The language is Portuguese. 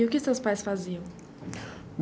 E o que seus pais faziam?